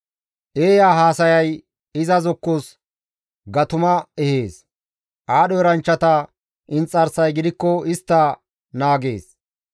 Eeya haasayay iza zokkos gatuma ehees; aadho eranchchata inxarsay gidikko istta naagees.